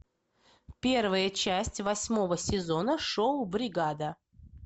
первая часть восьмого сезона шоу бригада